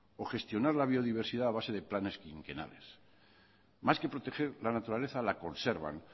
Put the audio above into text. o gestionar la biodiversidad a base de planes quinquenales más que proteger la naturaleza la conservan